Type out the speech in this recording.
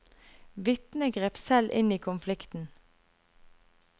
Vitnet grep selv inn i konflikten.